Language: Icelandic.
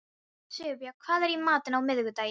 Sigurbjörn, hvað er í matinn á miðvikudaginn?